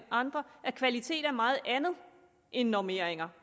andre at kvalitet er meget andet end normeringer